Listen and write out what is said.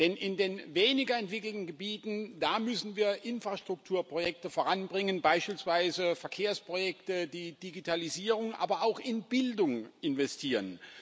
Denn in den weniger entwickelten Gebieten, da müssen wir Infrastrukturprojekte voranbringen, beispielsweise Verkehrsprojekte, die Digitalisierung, aber auch in Bildung investieren.